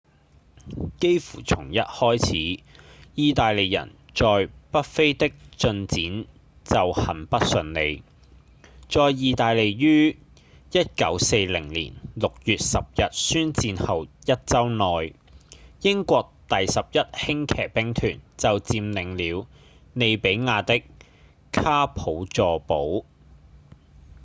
幾乎從一開始義大利人在北非的進展就很不順利在義大利於1940年6月10日宣戰後一週內英國第11輕騎兵團就佔領了利比亞的卡普佐堡